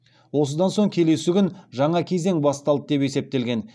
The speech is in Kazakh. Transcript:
осыдан соң келесі күн жаңа кезең басталды деп есептелген